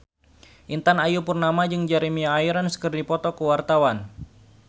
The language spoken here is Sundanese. Intan Ayu Purnama jeung Jeremy Irons keur dipoto ku wartawan